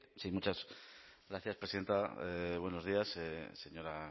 sí muchas gracias presidenta buenos días señora